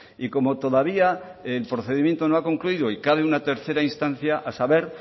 y como todavía el procedimiento no ha concluido y cabe una tercera instancia a saber